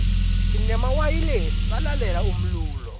sinemawayilesi salalela umlulo